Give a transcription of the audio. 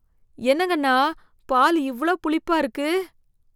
என்னங்க அண்ணா, பால் இவ்ளோ புளிப்பா இருக்கு?